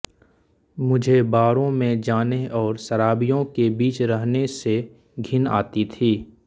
मुझे बारों में जाने और शराबियों के बीच रहने से घिन आती थी